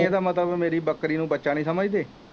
ਬਈ ਇਹਦਾ ਮਤਲਬ ਮੇਰੀ ਬੱਕਰੀ ਨੂੰ ਬੱਚਾ ਨਹੀਂ ਸਮਝਦੇ।